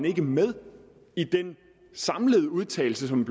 ikke er med i den samlede udtalelse som